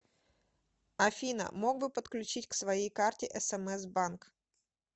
афина мог бы подключить к своей карте смс банк